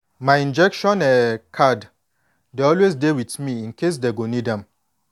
my injection um card dey always dey with me incase dey go need am